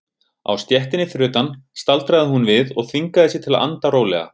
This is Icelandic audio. Á stéttinni fyrir utan staldraði hún við og þvingaði sig til að anda rólega.